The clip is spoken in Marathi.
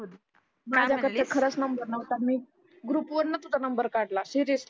माझा कडं खरचं नंबर नव्हता मी ग्रुप वरनं तुझा नंबर काढला सिरिअसली